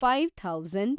five thousand